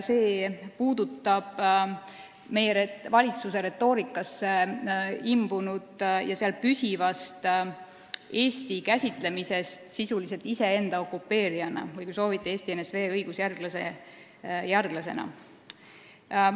See puudutab meie valitsuse retoorikasse imbunud ja seal püsivat Eesti käsitlemist sisuliselt iseenda okupeerijana või, kui soovite, Eesti NSV õigusjärglasena.